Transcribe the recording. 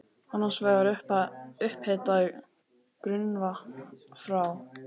Annars vegar er upphitað grunnvatn frá